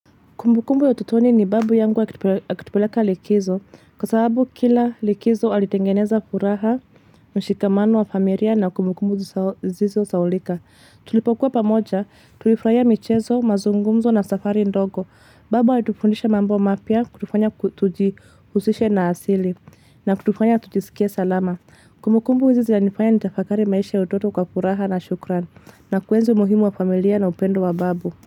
Kumbukumbu ya utotoni ni babu yangu akitupeleka likizo. Kwa sababu kila likizo alitengeneza furaha, mshikamano wa familia na kumbukumbu zisizo saulika. Tulipokuwa pamoja, tulifraia michezo, mazungumzo na safari ndogo. Babu alitufundisha mambo mapya kutufanya tujihusishe na asili na kutufanya kutijisikie salama. Kumbukumbu hizo zina nifanya nitafakari maisha ya utoto kwa furaha na shukran. Na kuenzi umuhimu wa familia na upendo wa babu.